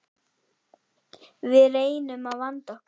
Við reynum að vanda okkur.